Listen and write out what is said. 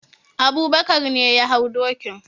Abubakar ne ya hau dokin.